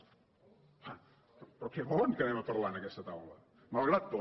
home però què volen que anem a parlar en aquesta taula malgrat tot